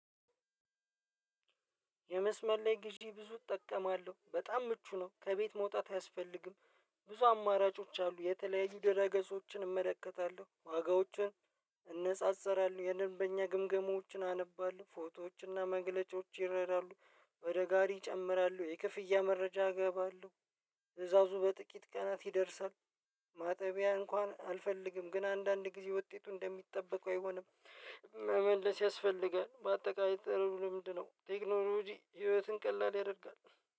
የመስመር ላይ ግዢ ብዙ እጠቀማለሁ በጣም ምቹ ነው ከቤት መውጣት አያስፈልግም ብዙ አማራጮች አሉ የተለያዩ ድህረ ገጾችን እመለከታለሁ ዋጋዎችን እነጻጸራለሁ የደንበኛ ግምገማዎችን አነባለሁ ፎቶዎችና መግለጫዎች ይረዳሉ ወደ ጋሪ ይጨምራሉ የክፍያ መረጃ እገባለሁ ትእዛዙ በጥቂት ቀናት ይደርሳል ማጠቢያ እንኳን አልፈልግም ግን አንዳንድ ጊዜ ውጤቱ እንደሚጠበቀው አይሆንም መመለስ ያስፈልጋል በአጠቃላይ ጥሩ ልምድ ነው ቴክኖሎጂ ህይወትን ቀላል ያደርጋል።